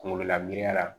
Kunkololabana